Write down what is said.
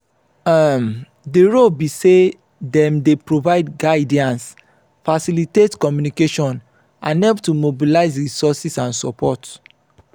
um di role be say dem dey provide guidance facilitate communication and help to mobilize resources and support.